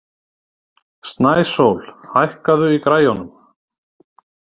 Snæsól, hækkaðu í græjunum.